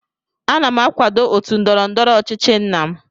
Ana m akwado otu ndọrọ ndọrọ ọchịchị nna m